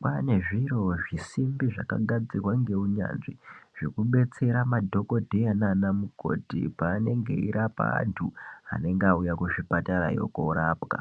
kwaane zviro zvisimbi zvakagadzirwa neunyanzvi zvekudetsera madhokldheya naana mukoti paanenge eirapa antu anenge auya kuzvipatarayo korapwa .